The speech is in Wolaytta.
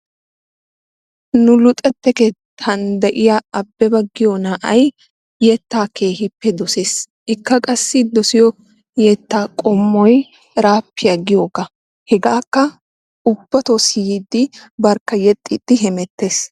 Nu luxetta keettan de"iya Abeba giyo na"ayi yettaa keehippe dosees ikka qassi dosiyo yettaa qommoyi eraappiya giyogaa. Hegaakka ubbatoo siyiiddi ubbatoo yexxiiddi hemettes.